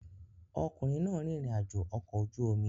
Ọkùnrin náà rìnrìn àjò ọkọ̀ ojú omi